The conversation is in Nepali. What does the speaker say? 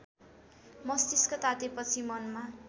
मस्तिष्क तातेपछि मनमा